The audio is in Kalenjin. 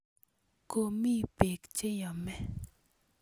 Komi peek che yome.